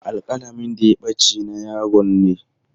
Alƙalamin da ya ɓace na yaron ne.